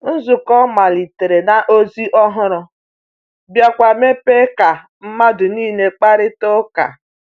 Nzukọ malitere na ozi ọhụrụ, biakwa mepee ka mmadụ niile kparịta ụka.